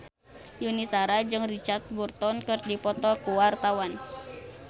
Yuni Shara jeung Richard Burton keur dipoto ku wartawan